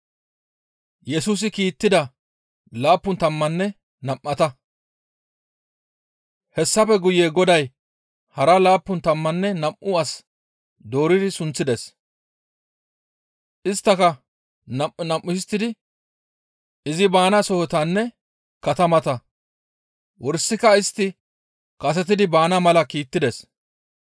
Hessafe guye Goday hara laappun tammanne nam7u as dooridi sunththides; isttaka nam7u nam7u histtidi izi baana sohotanne katamata wursika istti kasetidi baana mala kiittides.